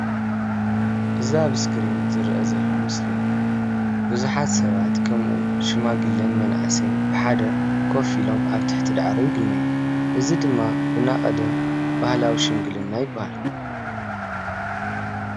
እዛ ኣብ እስክሪን ዝረአ ዘሎ ምስሊ ብዙሓት ሰባት ከምኡ እውን ሽማግለን መናእሰይን ብሓደ ኮፍ ኢሎም ኣብ ትሕቲ ዳዕሮ ይግነዩ፡፡ እዚ ዳዕሮ ድማ ብናይ ቀደም ባህላዊ ሽምግልና ይባሃል፡፡